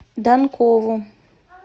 данкову